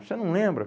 Você não lembra?